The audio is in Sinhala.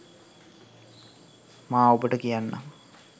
මා ඔබට කියන්නම්